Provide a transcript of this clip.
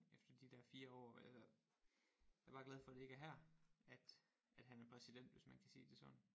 Efter de der 4 år eller jeg er bare glad for at det ikke er her at at han er præsident hvis man kan sige det sådan